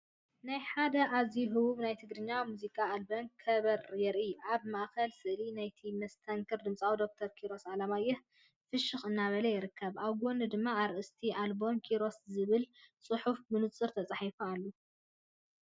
ናይ ሓደ ኣዝዩ ህቡብ ናይ ትግርኛ ሙዚቃ ኣልበም ከበር የርኢ። ኣብ ማእኸል ስእሊ ናይቲ መስተንክር ድምፃዊ ዶክተር ኪሮስ ኣለማየሁ፣ ፍሽኽ እናበለ ይርከብ። ኣብ ጎኑ ድማ ኣርእስቲ ኣልበም "ኪሮሰይ"ዝብል ፅሑፍ ብንጹር ተጻሒፉ ኣሎ።